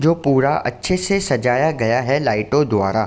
जो पूरा अच्छे से सजाया गया है लाइटो द्वारा।